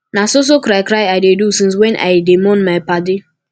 na so so cry cry i dey do since wey i dey mourn my paddy